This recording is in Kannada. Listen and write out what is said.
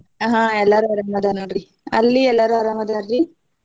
ಆಹ್ ಎಲ್ಲಾರು ಆರಾಮ್ ಅದಾರ ನೋಡ್ರಿ ಅಲ್ಲಿ ಎಲ್ಲಾರು ಆರಾಮ್ ಅದಾರ್ರೀ?